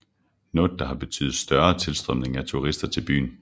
Noget der har betydet større tilstrømning af turister til byen